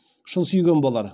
шын сүйген болар